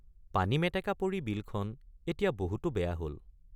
পানীমেটেকা পৰি বিলখন এতিয়া বহুতো বেয়া হল ।